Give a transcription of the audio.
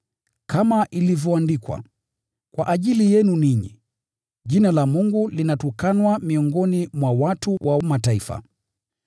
Kama ilivyoandikwa, “Kwa ajili yenu ninyi, Jina la Mungu linatukanwa miongoni mwa watu wa Mataifa.”